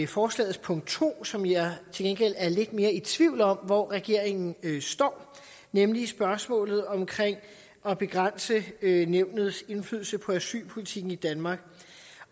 forslagets punkt to som jeg til gengæld er lidt mere i tvivl om hvor regeringen står nemlig spørgsmålet om at begrænse nævnets indflydelse på asylpolitikken i danmark